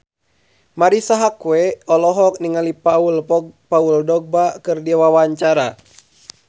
Marisa Haque olohok ningali Paul Dogba keur diwawancara